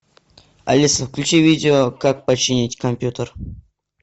алиса включи видео как починить компьютер